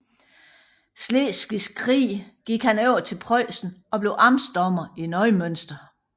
Slesvigske Krig gik han over til Preussen og blev amtsdommer i Neumünster